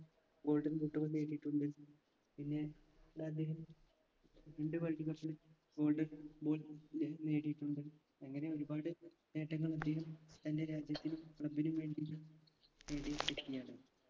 golden boot കൾ നേടിയിട്ടുണ്ട് പിന്നെ ട് അദ്ദേഹം രണ്ട് world cup ന് golden ball നെ നേടിയിട്ടുണ്ട് അങ്ങനെ ഒരുപാട് നേട്ടങ്ങൾ അദ്ദേഹം തൻറെ രാജ്യത്തിനും club നും വേണ്ടി നേടിയ വ്യക്തിയാണ്